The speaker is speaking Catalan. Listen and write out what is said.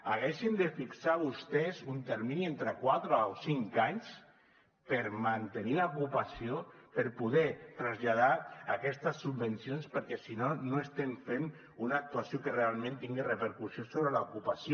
haurien de fixar vostès un termini entre quatre o cinc anys per mantenir l’ocupació per poder traslladar aquestes subvencions perquè si no no estem fent una actuació que realment tingui repercussió sobre l’ocupació